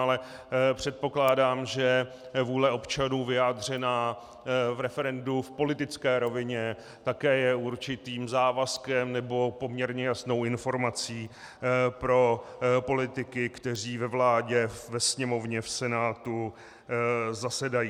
Ale předpokládám, že vůle občanů vyjádřená v referendu v politické rovině také je určitým závazkem nebo poměrně jasnou informací pro politiky, kteří ve vládě, ve Sněmovně, v Senátu zasedají.